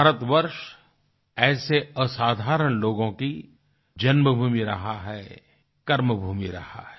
भारतवर्ष ऐसे असाधारण लोगों की जन्मभूमि रहा है कर्मभूमि रहा है